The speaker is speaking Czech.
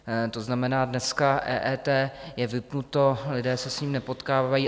To znamená, dneska EET je vypnuto, lidé se s ním nepotkávají.